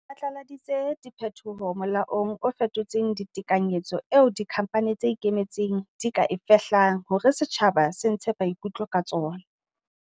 Re phatlaladitse diphetoho molaong o fetotseng tekanyetso eo dikhamphane tse ikemetseng di ka e fehlang hore setjhaba se ntshe maikutlo ka tsona.